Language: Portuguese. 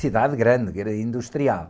Cidade grande, vila industrial.